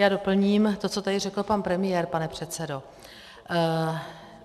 Já doplním to, co tady řekl pan premiér, pane předsedo.